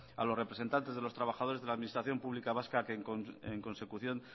a los representantes de los trabajadores de la administración pública vasca a que en consecución